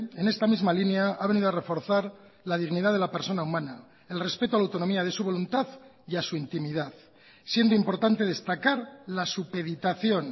en esta misma línea ha venido a reforzar la dignidad de la persona humana el respeto a la autonomía de su voluntad y a su intimidad siendo importante destacar la supeditación